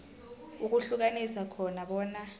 ukuhlukanisa khona bona